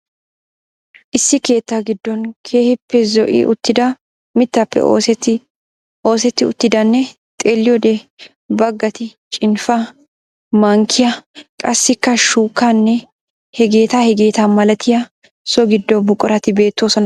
Issi keetta gidon keehiipe zo'i uttida mittappe oosetti uttidanne xeelliyode bagatti cinfaa, mankkiya, qassikka shukkanee heegeta hegeetta malattiya so gido buquratti beettoosona.